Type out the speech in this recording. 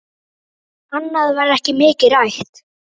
Annað var ekki mikið rætt.